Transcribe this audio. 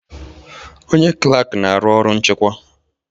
Onye klak na-arụ ọrụ nchịkwa.